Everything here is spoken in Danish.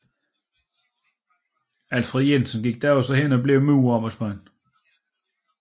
Alfred Jensen gik da også hen og blev murerarbejdsmand